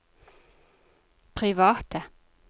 private